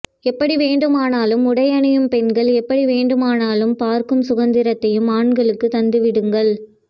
எப்படி வேண்டுமானாலும் உடையணியும் பெண்கள் எப்படி வேண்டுமானாலும் பார்க்கும் சுதந்திரத்தையும் ஆண்களுக்குத் தந்துவிடுங்கள்